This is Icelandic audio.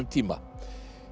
tíma